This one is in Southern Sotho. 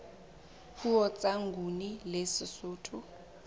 puo tsa nguni le sesotho